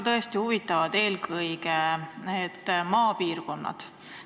Mind huvitavad ka eelkõige maapiirkonnad.